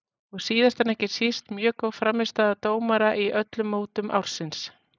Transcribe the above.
Og síðast en ekki síst mjög góð frammistaða dómara í öllum mótum ársins.